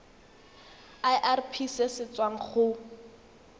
irp se se tswang go